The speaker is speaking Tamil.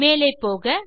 மேலே போக